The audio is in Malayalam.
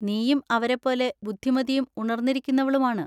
നീയും അവരെപ്പോലെ ബുദ്ധിമതിയും ഉണർന്നിരിക്കുന്നവളുമാണ്.